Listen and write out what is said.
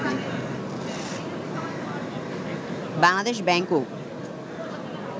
Bangladesh ব্যাংকও